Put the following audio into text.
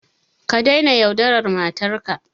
Ka daina yaudarar matarka.